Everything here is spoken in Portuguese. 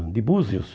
De Búzios.